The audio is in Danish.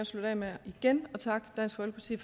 slutte af med igen at takke dansk folkeparti